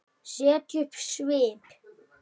Setja upp svip?